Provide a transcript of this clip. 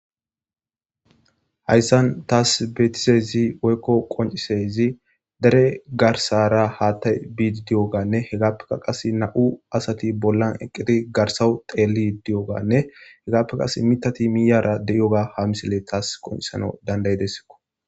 Hayssan tas betizezi woykko qonc'isiza dere garsara hatay biidi diyoganne hegappeka qas na7u asati bollan eqqidi garsawu teeli di7oganne hegappe qas mitati miyara de7iyoga ha misile taas qoncisano dandayidessko